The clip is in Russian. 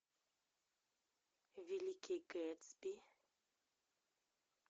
великий гэтсби